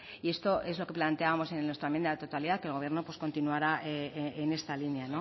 y esto es lo que planteábamos en nuestra enmienda de totalidad que el gobierno continuara en esta línea